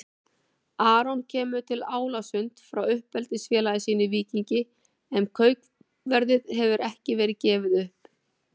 Aron kemur til Álasund frá uppeldisfélagi sínu Víkingi en kaupverðið hefur ekki verið gefið upp.